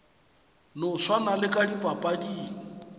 no swana le ka dipapading